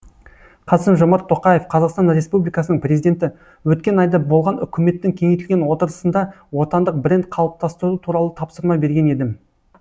қасым жомарт тоқаев қазақстан республикасының президенті өткен айда болған үкіметтің кеңейтілген отырысында отандық бренд қалыптастыру туралы тапсырма берген едім